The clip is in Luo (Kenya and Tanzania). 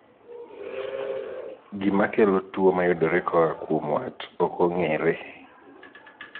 Gima kelo tuo mayudore koa kuom wat ok ong'ere.